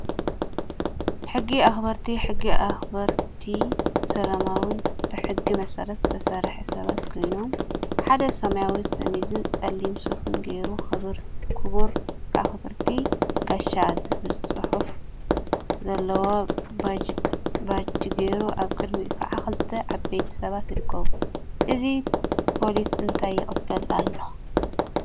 ሕጊ አክበርቲ ሕጊ አክበርቲ ሰላማዊን ብሕጊ መሰረት ዝሰርሑ ሰባት ኮይኖም፤ ሓደ ሰማያዊ ሸሚዝን ፀሊም ሱፍን ገይሩ ክቡር/ቲ ጋሻ ዝብል ፅሑፍ ዘለዎ ባጅ ገይሩ አብ ቅድሚኡ ከዓ ክልተ ዓበይቲ ሰባት ይርከቡ፡፡ እዚ ፖሊስ እንታይ ይቅበል አሎ?